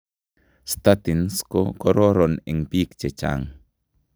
Statins ko koron eng biik chechang